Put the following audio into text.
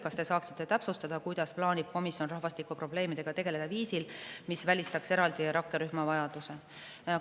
Kas te saaksite täpsustada, kuidas plaanib komisjon rahvastikuprobleemidega tegeleda viisil, mis välistaks eraldi rakkerühma vajaduse?